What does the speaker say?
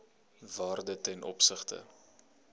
waarde ten opsigte